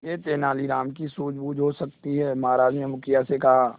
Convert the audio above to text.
यह तेनालीराम की सूझबूझ हो सकती है महाराज ने मुखिया से कहा